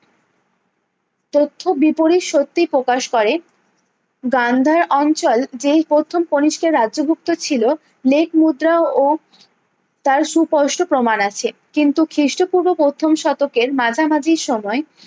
তথ্য বিপরীত সত্যি প্রকাশ করে গান্ধার অঞ্চল যেই প্রথম কণিষ্কের রাজ্যভুক্ত ছিলো মেঘ মুদ্রা ও তার সুস্পষ্ট প্রমাণ আছে কিন্তু খিস্ট পূর্ব প্রথম শতকের মাঝামাঝি সময়ে